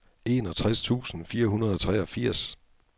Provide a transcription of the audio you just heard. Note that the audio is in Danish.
enogtres tusind fire hundrede og treogfirs